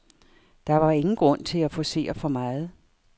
Der var ingen grund til at forcere for meget.